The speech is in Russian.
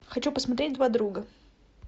хочу посмотреть два друга